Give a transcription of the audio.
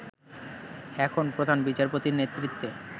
এখন প্রধান বিচারপতির নেতৃত্বে